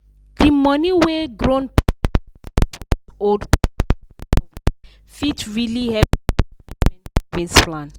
the money wey grown pikin dey support old papa and mama with fit really help their retirement savings plan.